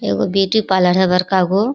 इ एगो beauty parlour है बड़का गो --